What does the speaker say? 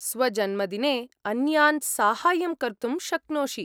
स्वजन्मदिने अन्यान् साहाय्यं कर्तुं शक्नोषि।